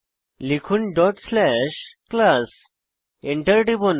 লিখুন class dot slash class Enter টিপুন